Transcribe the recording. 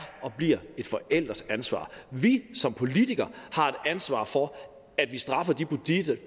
og bliver det et forældreansvar vi som politikere har et ansvar for at vi straffer de